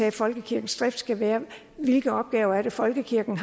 at folkekirkens drift skal være hvilke opgaver har folkekirken